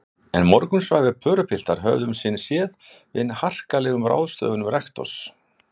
En morgunsvæfir pörupiltar höfðu um sinn séð við harkalegum ráðstöfunum rektors.